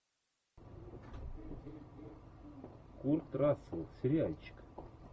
курт рассел сериальчик